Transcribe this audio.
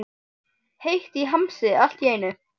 Heitt í hamsi allt í einu.